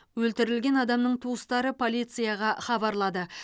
өлтірілген адамның туыстары полицияға хабарлады